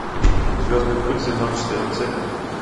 звездный путь сезон четырнадцать